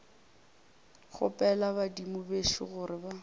kgopela badimo bešo gore ba